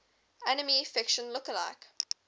anime fiction lookalike